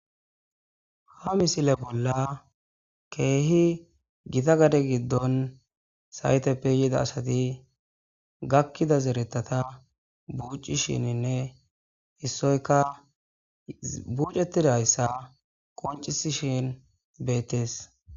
ha misile bolla keehi gita gade giddon sayteppe yida asati gakkida zeretata buucishininne issoyka bucetidayssa qoncisishin beettees